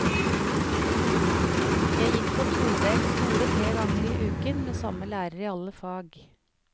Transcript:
Jeg gikk på todelt skole tre ganger i uken med samme lærer i alle fag.